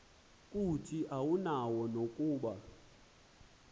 kuthi awunayo nokuba